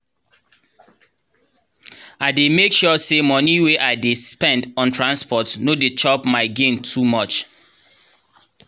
i dey make sure say the moni wey i dey spend on transport no dey chop my gain too much.